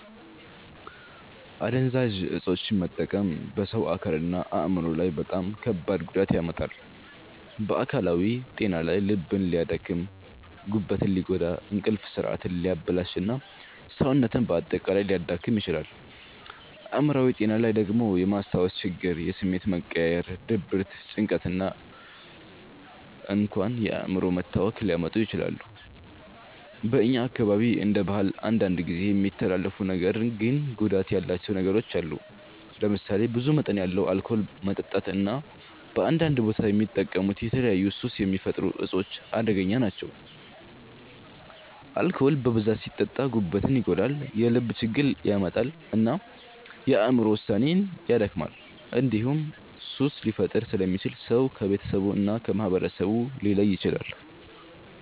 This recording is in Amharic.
አደንዛዥ እፆችን መጠቀም በሰው አካልና አእምሮ ላይ በጣም ከባድ ጉዳት ያመጣል። በአካላዊ ጤና ላይ ልብን ሊያደክም፣ ጉበትን ሊጎዳ፣ እንቅልፍ ስርዓትን ሊያበላሽ እና ሰውነትን በአጠቃላይ ሊያዳክም ይችላል። አእምሮአዊ ጤና ላይ ደግሞ የማስታወስ ችግር፣ የስሜት መቀያየር፣ ድብርት፣ ጭንቀት እና እንኳን የአእምሮ መታወክ ሊያመጡ ይችላሉ። በእኛ አካባቢ እንደ ባህል አንዳንድ ጊዜ የሚተላለፉ ነገር ግን ጉዳት ያላቸው ነገሮች አሉ። ለምሳሌ ብዙ መጠን ያለው አልኮል መጠጣት እና በአንዳንድ ቦታ የሚጠቀሙት የተለያዩ ሱስ የሚፈጥሩ እፆች አደገኛ ናቸው። አልኮል በብዛት ሲጠጣ ጉበትን ይጎዳል፣ የልብ ችግር ያመጣል እና የአእምሮ ውሳኔን ያደክማል። እንዲሁም ሱስ ሊፈጥር ስለሚችል ሰው ከቤተሰቡ እና ከማህበረሰቡ ሊለይ ይችላል።